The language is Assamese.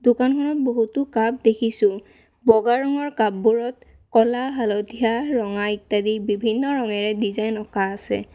দোকানখনত বহুতো কাপ দেখিছোঁ বগা ৰঙৰ কাপবোৰত ক'লা হালধীয়া ৰঙা ইত্যাদি বিভিন্ন ৰঙেৰে ডিজাইন অঁকা আছে।